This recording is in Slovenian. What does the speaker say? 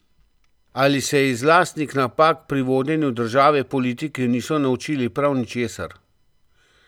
Ali se iz lastnih napak pri vodenju države politiki niso naučili prav ničesar?